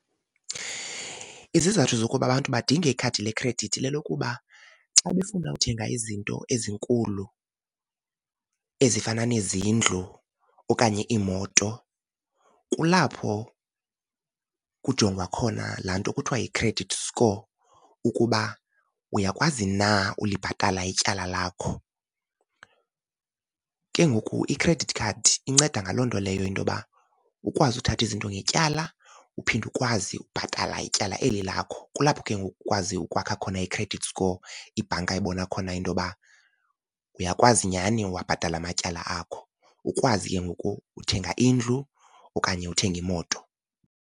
Izizathu zokuba abantu badinge ikhadi lekhredithi lelokuba xa befuna uthenga izinto ezinkulu ezifana nezindlu okanye iimoto kulapho kujongwa khona laa nto kuthiwa yi-credit score ukuba uyakwazi na ulibhatala ityala lakho. Ke ngoku i-credit card inceda ngaloo nto leyo into yoba ukwazi uthatha izinto ngetyala uphinde ukwazi ukubhatala ityala eli lakho. Kulapho ke ngoku ukwazi ukwakha khona i-credit score, ibhanka ibona khona into yoba uyakwazi nyhani uwabhatala amatyala akho, ukwazi ke ngoku uthenga indlu okanye uthenge imoto.